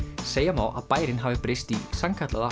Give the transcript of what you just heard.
segja má að bærinn hafi breyst í sannkallaða